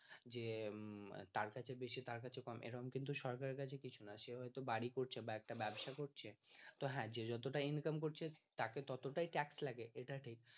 যে তার কাছে বেশি তার কাছে কম এরকম কিন্তু সরকারের কাছে কিছু না সে হয়তো বাড়ি করছে বা একটা ব্যবসা করছে তো হ্যাঁ যে যতটা income করছে তাকে ততটাই ট্যাক্স লাগে এটা ঠিক